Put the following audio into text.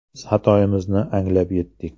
Biz xatoyimizni anglab yetdik.